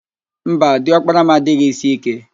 Mba, di ọkpara m adịghị ísí íké